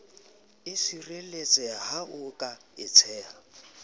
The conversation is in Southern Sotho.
sireletseha ha ho ka etseha